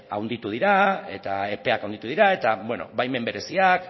handitu dira eta epeak handitu dira eta baimen bereziak